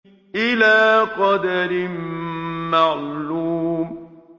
إِلَىٰ قَدَرٍ مَّعْلُومٍ